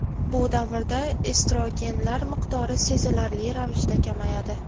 Bu davrda estrogenlar miqdori sezilarli ravishda kamayadi.